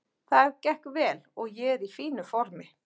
Það gekk vel og ég er í fínu formi.